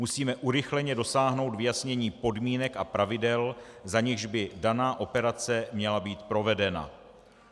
Musíme urychleně dosáhnout vyjasnění podmínek a pravidel, za nichž by daná operace měla být provedena.